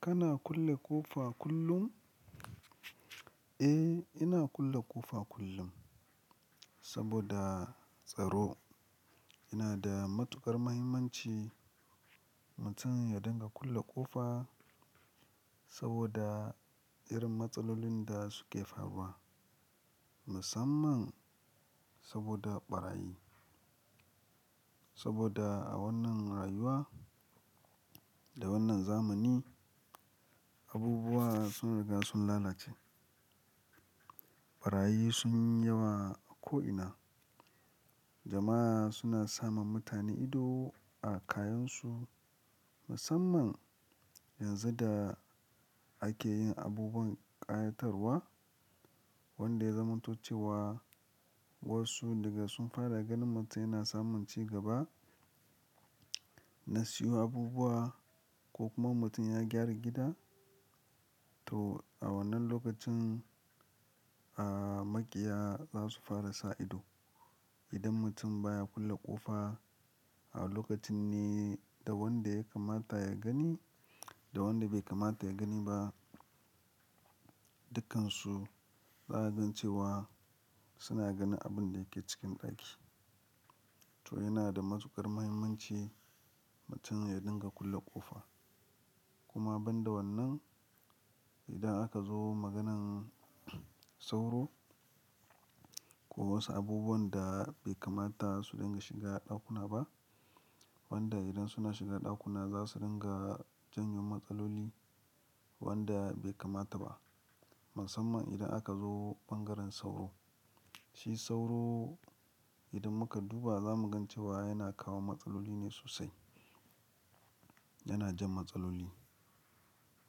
Kana kulle ƙofa kullum? Eh, ina kulle ƙofa kullum saboda tsaro. Ina da matuƙar mahimmanci mutum ya dinga kulle ƙofa saboda irin matsalolin da suke faruwa musamman saboda ɓarayi. Saboda a wannan rayuwa da wannan zamani, abubuwa sun riga sun lalace. Ɓarayi sun yi yawa a ko'ina. Jama'a suna sama mutane ido a kayansu musamman yanzu da ake yin abubuwan ƙayatarwa wanda ya zamantuce wa wasu daga sun fara ganin mutum yana samun cigaba, na siyo abubuwa ko kuma mutum ya gyara gida. To a wannan lokacin, a, maƙiya za su fara sa ido. Idan mutum baya kulle ƙofa a lokacin ne da wanda ya kamata ya gani da wanda bai kamata ya gani ba, dukkansu za a gan cewa suna ganin abin da yake cikin ɗaki. To yana da matuƙar mahimmanci mutum ya dinga kulle ƙofa. Kuma ban da wannan, idan aka zo maganan sauro ko wasu abubuwan da bai kamata su dinga shiga ɗakuna ba wanda idan suna shiga ɗakuna za su dinga janyo matsaloli wanda bai kamata ba. Musamman idan aka zo ɓangaren sauro. Shi sauro idan muka duba za mu gan cewa yana kawo matsaloli ne sosai. Yana jan matsaloli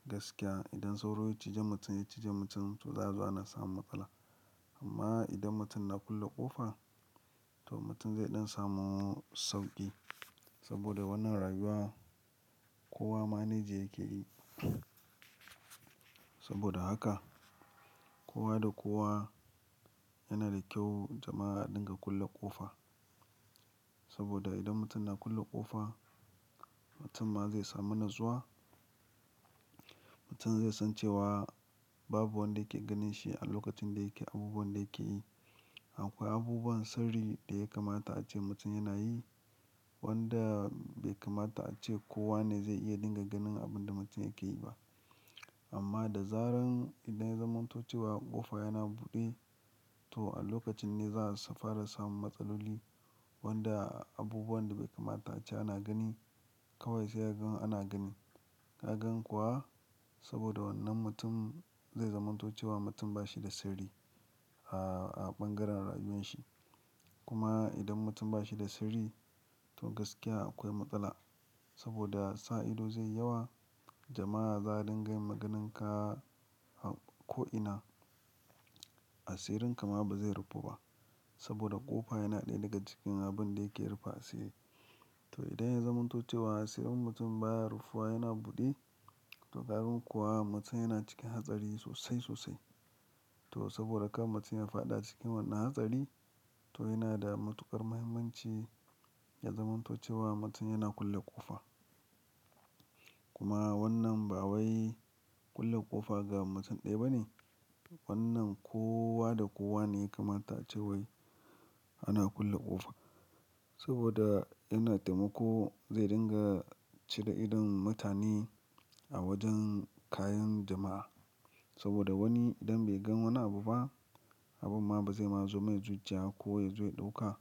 gaskiya. Idan sauro ya cije mutum, ya cije mutum, to zaazo ana samun matsala. Amma idan mutum na kulle ƙofa, to mutum zai ɗan samu sauƙi saboda wannan rayuwa kowa manage yake yi. Saboda haka kowa da kowa yana da kyau jama'a a dinga kulle ƙofa. Saboda idan mutum na kulle ƙofa, mutum ma zai samu natsuwa. Mutum zai san cewa babu wanda yake ganin shi a lokacin da yake abubuwan da yake yi. Akwai abubuwan sirri da ya kamata ace mutum yana yi wanda bai kamata ace kowa ne zai iya dinga ganin abin da mutum yake yi ba. Amma da zaran idan ya zamantuce wa ƙofa yana buɗe, to a lokacin ne za su fara samun matsaloli wanda abubuwan da bai kamata ace ana gani kawai sai ya gan ana gani. Ka gan kuwa saboda wannan mutum zai zamantuce wa mutum ba shi da sirri a, a ɓangaren rayuwan shi. Kuma idan mutum ba shi da sirri, to gaskiya akwai matsala saboda sa ido zai yawa. Jama'a za dinga yin magananka a ko'ina. Asirin ka ma ba zai rufu ba saboda ƙofa yana ɗaya daga cikin abin da yake rufe asiri. To idan ya zamantuce wa asirin mutum baya rufuwa yana buɗe, to ƙagan kuwa mutum yana cikin hatsari sosai sosai. To saboda kar mutum ya fada cikin wannan hatsari, to yana da matuƙar mahimmanci ya zamantuce wa mutum yana kulle ƙofa. Kuma wannan ba wai kulle ƙofa ga mutum ɗaya ba ne. Wannan kowa da kowa ne ya kamata ace wai ana kulle ƙofa saboda yana taimako zai dinga cire idon mutane a wajen kayan jama'a. Saboda wani idan bai gan wani abu ba, abun ma ba zai ma zo mai zuciya ko ya zo ya ɗauka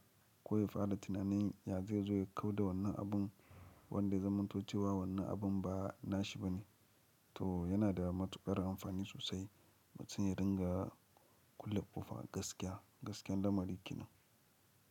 ko ya fada tunanin ya zai zo ya kau da wannan abun wanda ya zamantuce wa wannan abun ba na shi ba ne. To yana da matuƙar amfani sosai mutum ya dinga kulle ƙofa gaskiya, gaskiyar lamari ke nan.